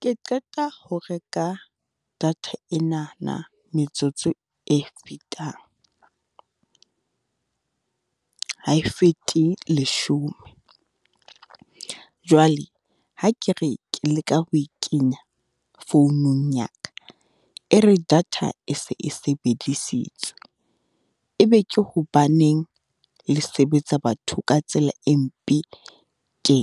Ke qeta ho reka data enana metsotso e fetang, ha e fete leshome. Jwale, ha ke re ke leka ho e kenya founung ya ka, e re data e se e sebedisitswe. E be ke hobaneng le sebetsa batho ka tsela e mpe tje.